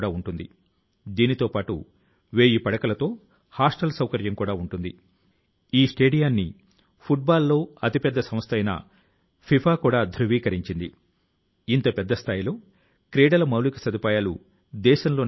అంటే జ్ఞానాన్ని సంపాదించాలని మనం అనుకొన్నప్పుడు ఏదైనా కొత్తది నేర్చుకోవాలి అని అనుకొన్నప్పుడు చేయాలి అని అనుకొన్నప్పుడు ప్రతి ఒక్క క్షణాన్ని సద్వినియోగం చేసుకోవాలి